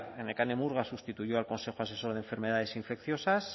nekane murga sustituyó al consejo asesor de enfermedades infecciosas